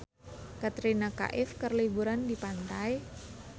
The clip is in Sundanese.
Katrina Kaif keur liburan di pantai